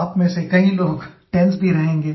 आप में से कई लोग टेंसे भी रहेंगे